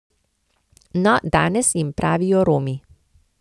No, danes jim pravijo Romi.